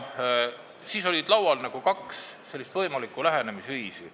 Siis oli laual kaks võimalikku lähenemisviisi.